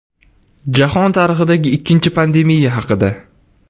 Jahon tarixidagi ikkinchi pandemiya haqida.